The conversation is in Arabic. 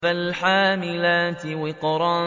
فَالْحَامِلَاتِ وِقْرًا